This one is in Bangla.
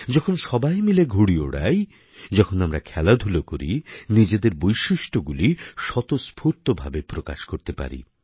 যখন সবাই মিলে ঘুড়ি ওড়াই যখন আমরা খেলাধূলা করি নিজেদের বৈশিষ্ট্যগুলি স্বতঃস্ফূর্তভাবে প্রকাশ করতে পারি